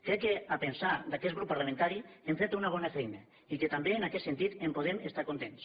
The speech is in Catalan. crec que al pensar d’aquest grup parlamentari hem fet una bona feina i que també en aquest sentit en podem estar contents